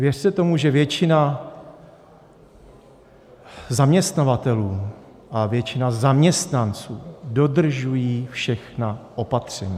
Věřte tomu, že většina zaměstnavatelů a většina zaměstnanců dodržuje všechna opatření.